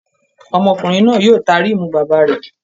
Ọmọkùnrin náà yóò ta rímù bàbá rẹ̀